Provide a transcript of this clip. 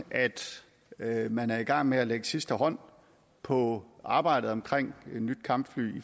at man er i gang med at lægge sidste hånd på arbejdet omkring et nyt kampfly